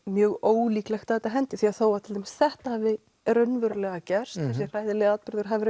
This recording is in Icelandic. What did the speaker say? mjög ólíklegt að hendi því að til dæmis þetta hafi raunverulega gerst þessi hræðilegi atburður hafi